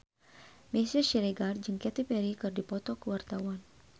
Meisya Siregar jeung Katy Perry keur dipoto ku wartawan